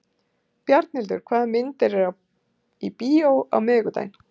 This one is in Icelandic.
Bjarnhildur, hvaða myndir eru í bíó á miðvikudaginn?